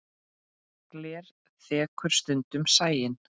Gler þekur stundum sæinn.